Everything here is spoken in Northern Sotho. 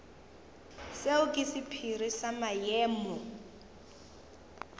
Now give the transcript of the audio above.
seo ke sephiri sa maemo